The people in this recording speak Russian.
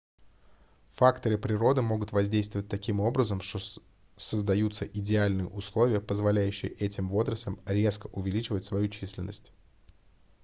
факторы природы могут воздействовать таким образом что создаются идеальные условия позволяющие этим водорослям резко увеличивать свою численность